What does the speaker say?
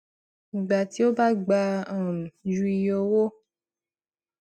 ìgbà tí ó bá gbà um ju iye owó